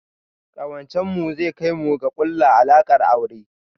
Ƙawancen mu zai kai mu ga ƙulla alaƙar aure